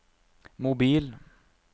mobil